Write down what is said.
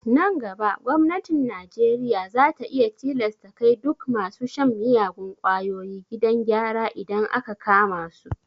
Nan gaba gwamnatin najeriya za ta iya tilasta kai duk masu shan miyagun kwayoyi gidan gyara idan aka kama su